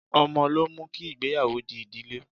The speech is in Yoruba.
Ọmọ ló mú kí ìgbéyàwó di ìdílé.